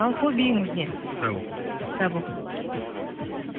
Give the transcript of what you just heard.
ал хоббиіңіз не кітап оқу кітап оқу